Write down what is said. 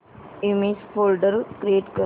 image folder create कर